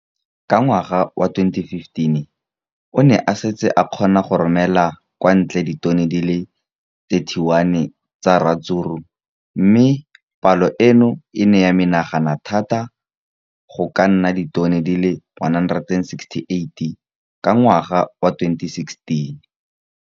Ka ngwaga wa 2015, o ne a setse a kgona go romela kwa ntle ditone di le 31 tsa ratsuru mme palo eno e ne ya menagana thata go ka nna ditone di le 168 ka ngwaga wa 2016.